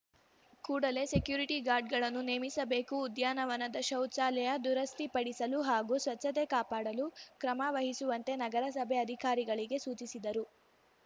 ಕೂಡಲೇ ಸೆಕ್ಯೂರಿಟಿ ಗಾರ್ಡ್‌ಗಳನ್ನು ನೇಮಿಸಬೇಕು ಉದ್ಯಾನವನದ ಶೌಚಾಲಯ ದುರಸ್ತಿಪಡಿಸಲು ಹಾಗೂ ಸ್ವಚ್ಛತೆ ಕಾಪಾಡಲು ಕ್ರಮ ವಹಿಸುವಂತೆ ನಗರಸಭೆ ಅಧಿಕಾರಿಗಳಿಗೆ ಸೂಚಿಸಿದರು